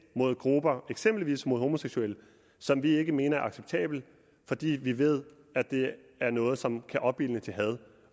mod grupper eksempelvis mod homoseksuelle som vi ikke mener er acceptable fordi vi ved at det er noget som kan opildne til had